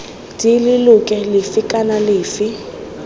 d leloko lefe kana lefe